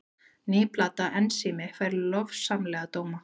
Ný plata Ensími fær lofsamlega dóma